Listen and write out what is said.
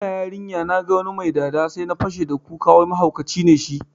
Ina yarinya naga wani mai dada sai na fashe da kuka wai mahaukaci ne shi